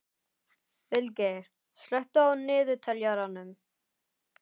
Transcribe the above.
Vilgeir, slökktu á niðurteljaranum.